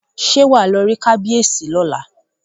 Ṣé wàá lọ rí kábíyèsí ní ọ̀la?